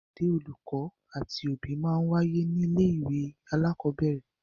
Ìpàdé olùkọ́ àti òbí máa ń wáyé ní ilé ìwé alakọ̀bẹ́ẹ́rẹ̀